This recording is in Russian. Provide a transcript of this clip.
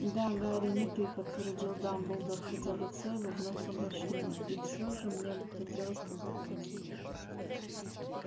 да гарри не ты подтвердил дамблдор хотя лицо его вновь помрачнело и всё же мне бы хотелось поговорить с тобой